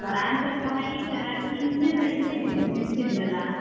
ನಾನು ಸ್ವಲ್ಪ height ಅಲ್ಲಾ ಹಿಂದೆಸ ಹಿಂದೆ ನಿಲ್ಲಿಸ್ತಿದ್ರು ಅಲ್ಲಾ.